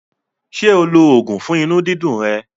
Ṣé o lo oògùn fún inú dídu rẹ̀?